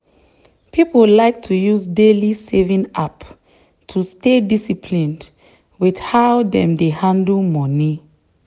people like to use daily saving app to stay disciplined with how dem dey handle money.